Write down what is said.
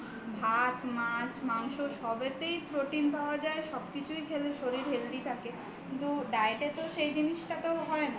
ভাত-মাছ-মাংস সবেতেই protein পাওয়া যায় সব কিছু খেলেই শরীর healthy থাকে কিন্তু diet এ তো সেই জিনিসটা হয় না